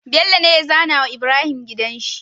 Bello ne ya zAna wa Ibrahim gidanshi